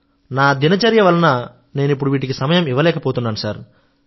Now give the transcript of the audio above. నా దిన చర్య వలన నేను ఇప్పుడు వీటికి సమయం ఇవ్వలేకపోతున్నాను